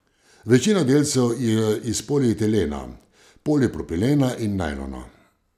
Večina delcev je iz polietilena, polipropilena in najlona.